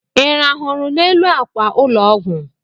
Ị rahụrụ n'elu akwa ụlọ ọgwụ?